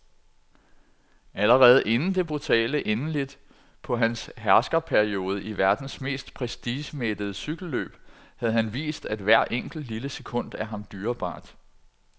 Allerede inden det brutale endeligt på hans herskerperiode i verdens mest prestigemættede cykelløb havde han vist, at hvert enkelt, lille sekund er ham dyrebart.